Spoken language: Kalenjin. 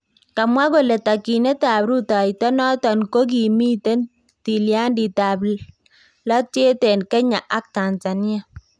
Kamwaa kole takyinetab rutooyto noton ko kokimiit tilyandit ab latyeet en Kenya ak Tanzania